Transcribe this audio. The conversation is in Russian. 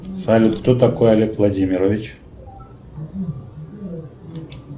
салют кто такой олег владимирович